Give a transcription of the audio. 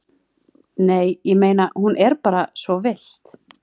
Nei, ég meina. hún er bara svo villt.